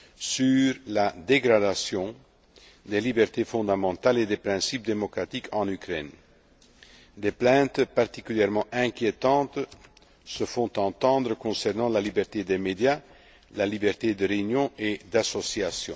incessants sur la dégradation des libertés fondamentales et des principes démocratiques en Ukraine. Des plaintes particulièrement inquiétantes se font entendre concernant la liberté des médias, la liberté de réunion et